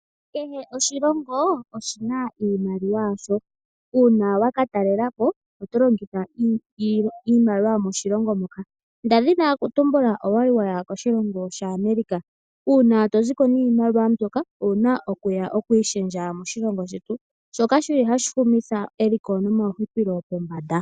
Kehe oshilongo oshina iimaliwa yasho. Una wa ka talela po oto longitha iimaliwa yomoshilongo moka. Nda dhina okutumbula oya li waya koshilongo shaAmerica una to ziko niimaliwa mbyoka owuna okuya okuyi shendja moshilongo shetu shoka shi li hashi humitha komeho eliko nomahupilo pombanda.